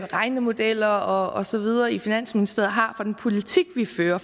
regnemodeller og så videre i finansministeriet har for den politik vi fører